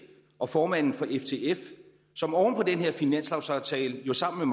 og formanden for ftf som oven på den her finanslovsaftale jo sammen